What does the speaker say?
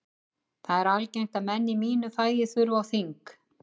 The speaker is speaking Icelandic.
Það er algengt að menn í mínu fagi þurfi á þing.